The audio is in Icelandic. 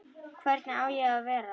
Hvernig á ég að vera?